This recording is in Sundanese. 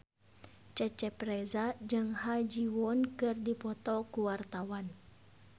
Cecep Reza jeung Ha Ji Won keur dipoto ku wartawan